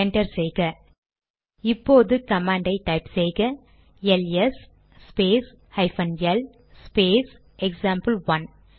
enter செய்க இப்போது command type செய்க L S space hyphen L space example one